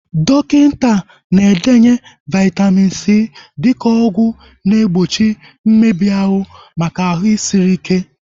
Dọkịta na-edenye Vaitamin C dịka ọgwụ na egbochi mmebi ahụ maka ahụ sịrị ike